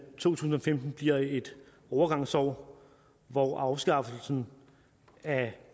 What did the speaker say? tusind og femten bliver et overgangsår hvor afskaffelsen af